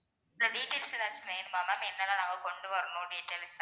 இந்த details ஏதாச்சும் வேணுமா ma'am என்னென்ன நாங்க கொண்டுவரணும் details